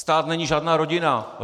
Stát není žádná rodina.